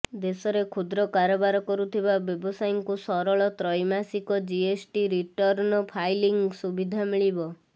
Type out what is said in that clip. ଦେଶରେ କ୍ଷୁଦ୍ର କାରବାର କରୁଥିବା ବ୍ୟବସାୟୀଙ୍କୁ ସରଳ ତ୍ରୈମାସିକ ଜିଏସଟି ରିଟର୍ଣ୍ଣ ଫାଇଲିଂ ସୁବିଧା ମିଳିବ